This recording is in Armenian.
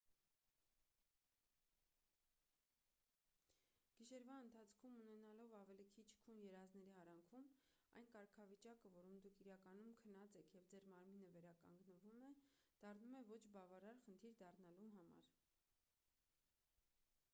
գիշերվա ընթացքում ունենալով ավելի քիչ քուն երազների արանքում այն կարգավիճակը որում դուք իրականում քնած եք և ձեր մարմինը վերականգնվում է դառնում է ոչ բավարար խնդիր դառնալու համար